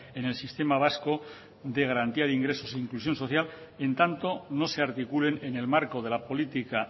en el sistema vasco de garantía de ingresos e inclusión social en tanto no se articulen en el marco de la política